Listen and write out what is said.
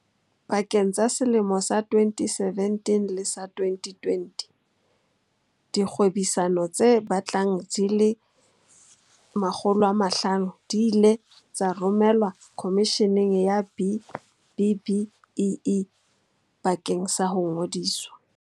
Pakeng tsa selemo sa 2017 le sa 2020, dikgwebisano tse batlang di le 500 di ile tsa romelwa Khomisheneng ya B-BBEE bakeng sa ho ngodiswa.